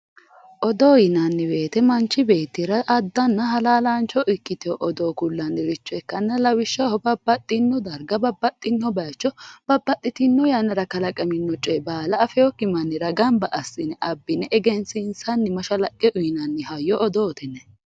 Odoo yinanni woyte mancho beettira addanna halaalaancho ikkitewo odoo kullanniricho ikkanna lawishshaho babbaxino darga babbaxino bayicho babbaxitino yannara kalaqanino coye baala afewokki mannira gamba assine abbine egensiinsanni mashalaqqe uynanni hayyo odoote yinanni